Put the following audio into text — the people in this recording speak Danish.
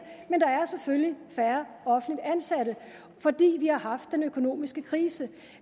er selvfølgelig færre offentligt ansatte fordi vi har haft den økonomiske krise